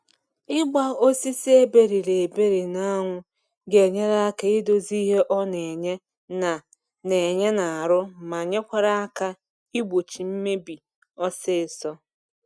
Ịgba osisi eberiri eberi na anwụ ga enyere aka idozi ihe ọ na enye na na enye na arụ ma nyerekwa aka igbochị mmebi ọsịsọ